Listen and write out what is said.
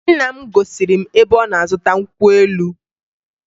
Nna m gosiri m ebe ọ na-azụta nkwụ elu